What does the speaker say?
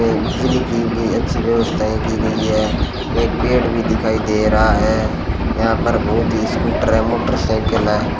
ये बिजली की भी अच्छी व्यवस्थाएं की गई है एक पेड़ भी दिखाई दे रहा है यहां पर बहुत ही स्कूटर है मोटरसाइकिल है।